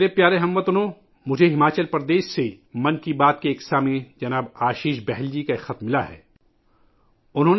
میرے پیارے ہم وطنو، مجھے 'من کی بات ' کے سننے والے جناب آشیش بہل جی کا ہماچل پردیش سے ایک خط موصول ہوا ہے